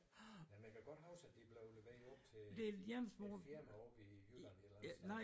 Men jeg kan godt huske de blev leveret op til et firma oppe i Jylland et eller andet sted